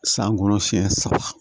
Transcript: San kɔnɔ siɲɛ saba